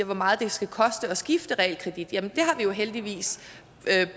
hvor meget det skal koste at skifte realkredit har vi jo heldigvis